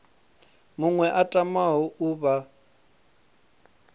muṅwe a tamaho u vha